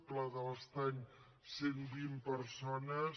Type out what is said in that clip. pla de l’estany cent i vint persones